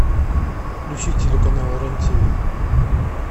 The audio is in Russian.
включи телеканал рен тв